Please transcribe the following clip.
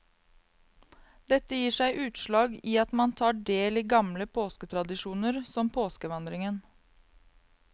Dette gir seg utslag i at man tar del i gamle påsketradisjoner, som påskevandringen.